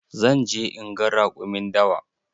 Zan je inga raƙumin dawa.